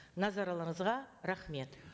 назарларыңызға рахмет